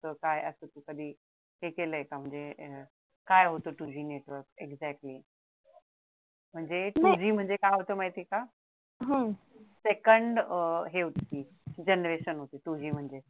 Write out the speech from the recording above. काय असत कधी हे केलय का म्हणजे काय होत two G network exactly म्हणजे two G म्हणजे काय होत माहिती का? second हे होती ती generation होती two G म्हणजे